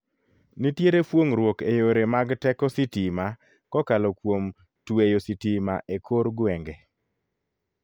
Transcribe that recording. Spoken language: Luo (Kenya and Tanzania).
Nitere fuong'ruok e yore mag teko sitima kokalo kuom tweyo sitima e kor gweng'e.